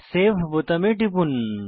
save বোতামে টিপুন